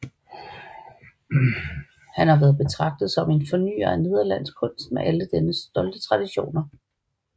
Han har været betragtet som en fornyer af nederlandsk kunst med alle dennes stolte traditioner